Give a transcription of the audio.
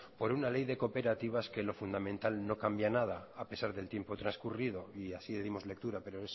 por una ley de cooperativas que en lo fundamental no cambia nada a pesar del tiempo transcurrido y así le dimos lectura pero